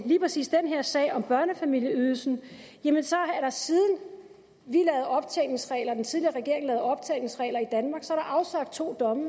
lige præcis den her sag om børnefamilieydelsen er der siden den tidligere regering lavede optjeningsregler i danmark afsagt to domme